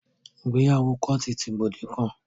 Ìgbéyàwó kóòtù ti gbòde kan.